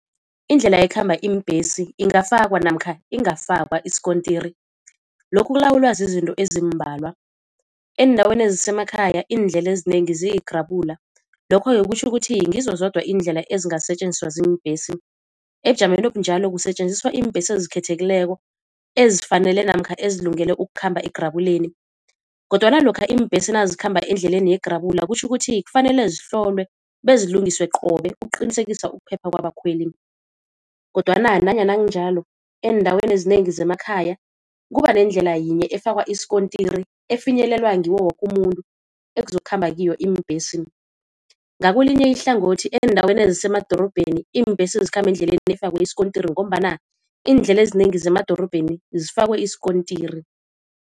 Indlela ekhamba iimbesi ingafakwa namkha ingafakwa isikontiri lokhu kulawulwa zizinto ezimbalwa. Eendaweni ezisemakhaya iindlela ezinengi ziyigrabula lokho-ke kutjho ukuthi ngizo zodwa iindlela ezingasetjenziswa ziimbhesi, ebujameni obunjalo kusetjenziswa iimbhesi ezikhethekileko ezifanele namkha ezilungele ukukhamba egrabuleni. Kodwana lokha iimbhesi nazikhamba endleleni yegrabula kutjho ukuthi kufanele zihlolwe bezilungiswe qobe ukuqinisekisa ukuphepha kwabakhweli. Kodwana nanyana kunjalo eendaweni ezinengi zemakhaya kuba nendlela yinye efakwa isikontiri efinyelelwa ngiwo woke umuntu ekuzokukhamba kiyo iimbhesi. Ngakwelinye ihlangothi eendaweni ezisemadorobheni iimbhesi zikhamba eendleleni efakwe isikontiri ngombana iindlela ezinengi zemadorobheni zifakwe isikontiri.